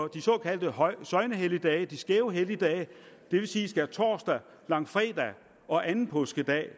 de såkaldte søgnehelligdage de skæve helligdage det vil sige skærtorsdag langfredag og anden påskedag